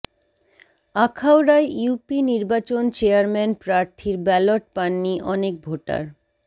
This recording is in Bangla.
আখাউড়ায় ইউপি নির্বাচন চেয়ারম্যান প্রার্থীর ব্যালট পাননি অনেক ভোটার